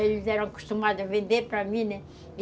Eles eram acostumados a vender para mim, né?